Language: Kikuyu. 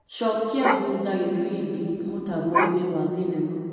Cokia thutha gĩbindi mũtambo-inĩ wa thinema.